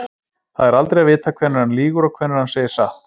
Það er aldrei að vita hvenær hann lýgur og hvenær hann segir satt.